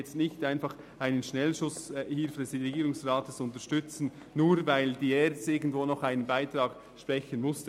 Wir wollen keinen Schnellschuss des Regierungsrates unterstützen, nur weil die ERZ irgendwo noch einen Betrag einsparen muss.